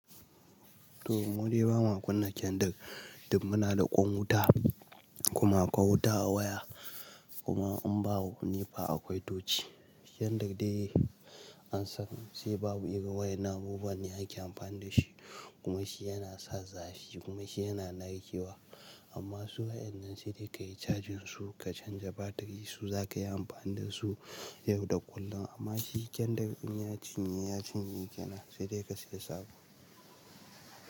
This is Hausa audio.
To, mu dai ba mu kunna kendir, duk muna da ƙwan wuta kuma akwai wuta a waya kuma an ba mu nepa akwai tochi. Kendir dai an san sai babu irin wayannan qbubuwanne ake amfani da shi kuma shi yana sa zafi kuma shi yana narkewa. Amma su wayan nan sai dai ka yi cajin su, ka canja batiri su za ka yi amfani da su yau da kullum. Amma shi kendir in ya cinye, ya cinye gena sai dai ka siya sabo.